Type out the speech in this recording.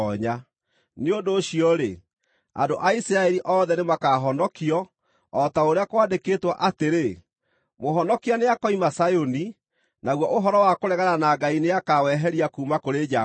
Nĩ ũndũ ũcio-rĩ, andũ a Isiraeli othe nĩmakahonokio, o ta ũrĩa kwandĩkĩtwo atĩrĩ: “Mũhonokia nĩakoima Zayuni; naguo ũhoro wa kũregana na Ngai nĩakaweheria kuuma kũrĩ Jakubu.